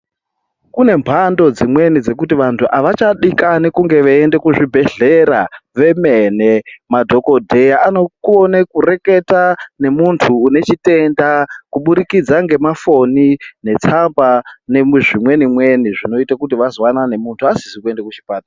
Kune mhando dzimweni dzekuti vandu avachadikani kuenda kuzvibhedhlera vemene madhokodheya vanokone kureketa ngemuntu ine chitenda kubudikidza ngemafoni netsamba zvinoita kuti vazwanane munhu asizi kuenda kuchipatara.